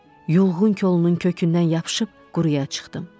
Yulğun kolunun kökündən yapışıb quruya çıxdım.